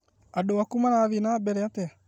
Andũaku mara thiĩ na mbere atĩa?